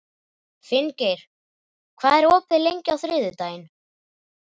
Finngeir, hvað er opið lengi á þriðjudaginn?